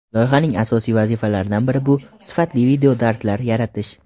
loyihaning asosiy vazifalaridan biri bu – sifatli videodarslar yaratish.